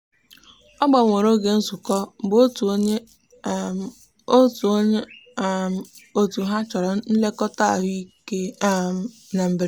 ọ gbanwere oge nzukọ mgbe otu onye um otu onye um otu ha chọrọ nlekọta ahụike um na mberede.